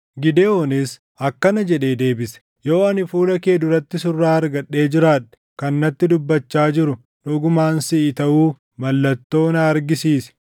Gidewoonis akkana jedhee deebise; “Yoo ani fuula kee duratti surraa argadhee jiraadhe, kan natti dubbachaa jiru dhugumaan siʼi taʼuu mallattoo na argisiisi.